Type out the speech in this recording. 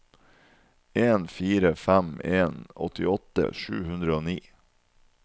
en fire fem en åttiåtte sju hundre og ni